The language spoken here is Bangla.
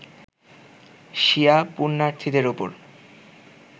শিয়া পূণ্যার্থীদের ওপর